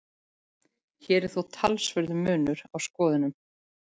Hér er þó talsverður munur á skoðunum.